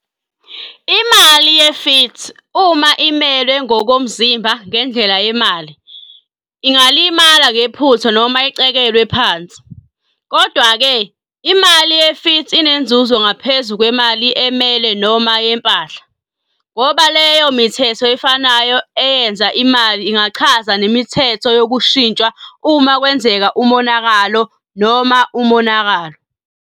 Imali ye-Fiat, uma imelwe ngokomzimba ngendlela yemali, iphepha noma izinhlamvu zemali, ingalimala ngephutha noma icekelwe phansi. Kodwa-ke, imali ye-fiat inenzuzo ngaphezu kwemali emele noma yempahla, ngoba leyo mithetho efanayo eyenze imali ingachaza nemithetho yokuyishintsha uma kwenzeka umonakalo noma umonakalo.